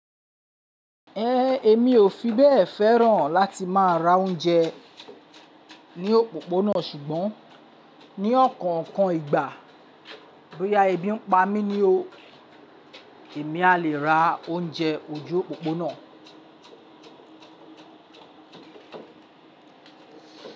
Ẹ̀, èmi ò fi bẹ́ẹ̀ fẹ́ràn láti má a ra oúnjẹ ní òpópónà ṣùgbọ́n ní ọ̀kọ̀ọ̀kan ìgbà bóyá ẹbí ń pa mí ni o, èmi a lè ra oúnjẹ ojú òpópónà.